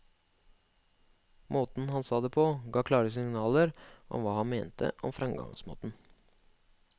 Måten han sa det på ga klare signaler om hva han mente om fremgangsmåten.